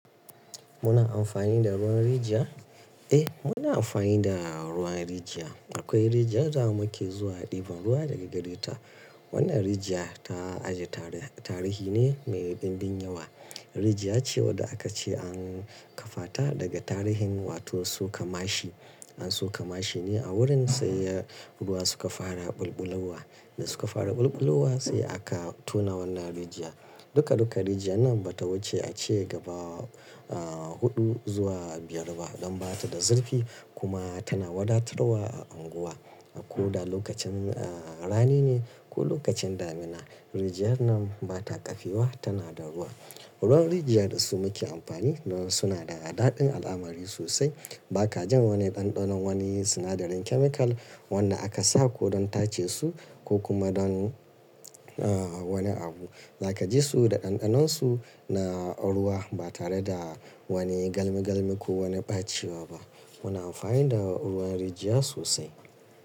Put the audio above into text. Muna amfani da ruwan rijiya. Eh, muna amfani da ruwan rijiya. Akwai rijiya da muke zuwa ɗiban ruwa daga gare ta. Wannan rijiya ta aji tarihi ne mai ɗimbin yawa. Rijiya ce wadda aka ce an kafata daga tarihin wato suka mashi. In suka mashi ne a wurin sai ya ruwa suka fara ɓulɓulowa, da suka fara ɓulɓulowa sai aka tona wannan rijiya. Duka, duka rijiya nan bata wuce a ce gaba huɗu zuwa biyar ba don bata da zurfi kuma tana wadatarwa a anguwa. Ko da lokacin rani ne ko lokacin damina, rijiya nan bata kafewa tana da ruwa. Ruwan rijiya da su muke amfani nan suna da daɗin al'amari sosai. Baka jan wani banɗanon wani sinadarin chemical wanda aka sako don tace su ko kuma don wani abu. Zaka ji su da ɗanɗanonsu na ruwa ba tare da wani galmi galmi ko wani ɓacewa ba. Muna amfani da ruwan rijiya sosai.